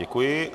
Děkuji.